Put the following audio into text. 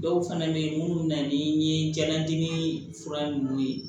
Dɔw fana bɛ yen minnu na ni ye jalatini fura ninnu ye